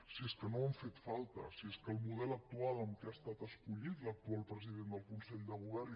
si és que no han fet falta si és que el model actual amb què ha estat escollit l’actual president del consell de govern